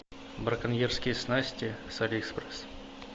браконьерские снасти с алиэкспресс